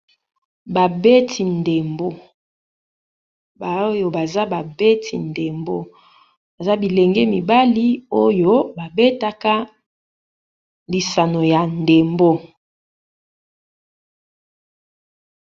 Ba beti ndembo, ba oyo baza ba beti ndembo, baza bilenge mibali oyo ba betaka lisano ya ndembo.